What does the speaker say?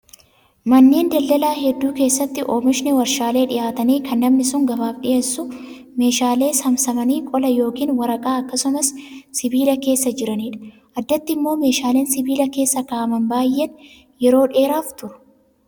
Manneen daldalaa hedduu keessatti oomishni warshaalee dhiyaatanii kan namni sun gabaaf dhiyeessus meeshaalee saamsamanii qola yookiin waraqaa akkasumas sibiila keessa jiranidha. Addatti immoo meeshaaleen sibiila keessa kaa'aman baay'ee yeroo dheeraaf turu